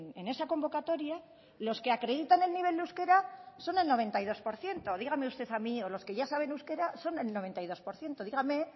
en esa convocatoria los que acreditan el nivel de euskera son el noventa y dos por ciento dígame usted a mí o los que ya saben euskera son el noventa y dos por ciento dígame